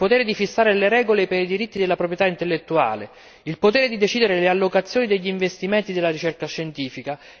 il potere di fissare le regole per i diritti della proprietà intellettuale il potere di decidere le allocazioni degli investimenti della ricerca scientifica